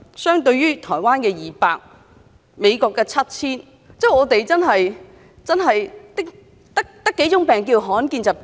相對於台灣的200種、美國的 7,000 種，我們真的只有7種罕見疾病嗎？